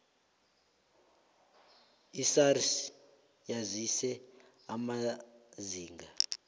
isars yazise amazinga